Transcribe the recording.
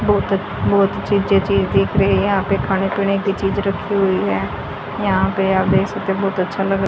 बहोत अच्छ बहोत अच्छी-अच्छी चीज दिख रही हैं यहां पे खाने पीने की चीज रखी हुई है यहां पे आप देख सकते है बहुत अच्छा लग --